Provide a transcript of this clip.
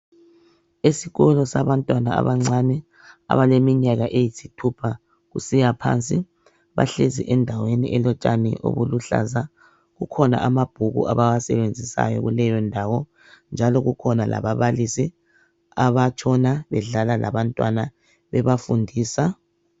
Esikolo sabantwana abancane abalemnyaka eyisithupha kusiyaphansi. Bahlezi endaweni elotshani obuluhlaza. Kukhona amabhuku abawasebenzisayo kuleyondawo. Njalo kukhona lababalisi abatshona bedlala labantwana bebafundisa.